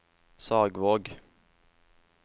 Sagvåg